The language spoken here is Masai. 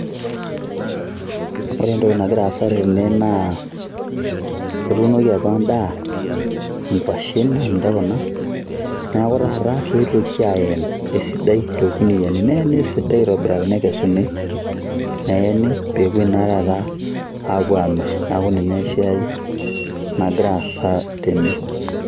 Ore entoki nagira aasa tene, naa etuunoki apa endaa, inkwashen na ninche kuna, neeku taata ketuoki aen esidai torkuniyiani, neena esidai aitobiraki nekesuni, neeni pepoi na taata apuo amir. Neeku ninye siai nagira aasa tene.